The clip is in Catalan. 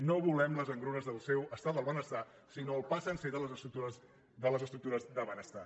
no volem les engrunes del seu estat del benestar sinó el pa sencer de les estructures de benestar